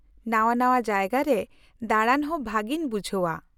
-ᱱᱟᱶᱟᱼᱱᱟᱶᱟ ᱡᱟᱭᱜᱟ ᱨᱮ ᱫᱟᱬᱟᱱ ᱦᱚᱸ ᱵᱷᱟᱹᱜᱤᱧ ᱵᱩᱡᱷᱟᱹᱣᱟ ᱾